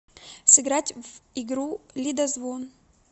сыграть в игру лидозвон